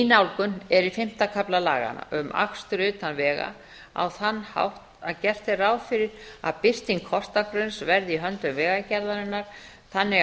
nálgun er í fimmta kafla laganna um akstur utan vega á þann hátt að gert er ráð fyrir að birting kortagrunns verði í höndum vegagerðarinnar þannig